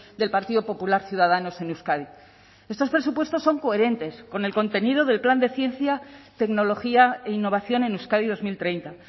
del partido popular ciudadanos en euskadi estos presupuestos son coherentes con el contenido del plan de ciencia tecnología e innovación en euskadi dos mil treinta